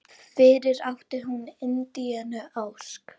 Fyrir átti hún Indíönu Ósk.